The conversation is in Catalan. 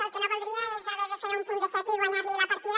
el que no voldria és haver de fer un punt de set i guanyar li la partida